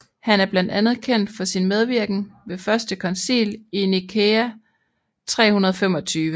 Han er blandt andet kendt for sin medvirken ved første koncil i Nikæa 325